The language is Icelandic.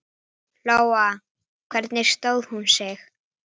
Sagði einhver þetta við mig?